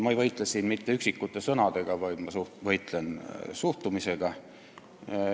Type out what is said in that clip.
Ma ei võitle siin mitte üksikute sõnadega, vaid ma võitlen suhtumisega.